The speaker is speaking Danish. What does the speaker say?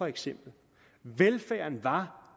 eksempel velfærden var